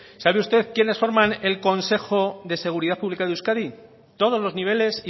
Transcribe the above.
sabe usted quienes forman el consejo de seguridad pública de euskadi todos los niveles